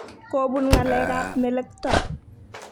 Kobun ngalekab melekto.